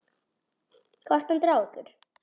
Hvaða stand er á ykkur?